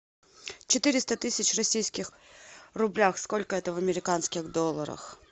четыреста тысяч в российских рублях сколько это в американских долларах